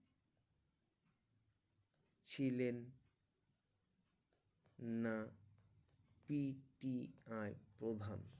ছিলেন না P T I প্রধান